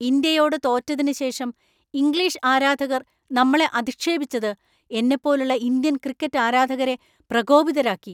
ഇന്ത്യയോട് തോറ്റതിന് ശേഷം ഇംഗ്ലീഷ് ആരാധകർ നമ്മളെ അധിക്ഷേപിച്ചത് എന്നെപ്പോലുള്ള ഇന്ത്യൻ ക്രിക്കറ്റ് ആരാധകരെ പ്രകോപിതരാക്കി.